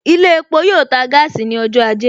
Ilé epo yoo ta gaasi ní ọjọ́ ajé